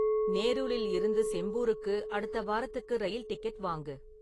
நேருலில் இருந்து செம்பூருக்கு அடுத்த வாரத்துக்கு ரயில் டிக்கெட் வாங்கு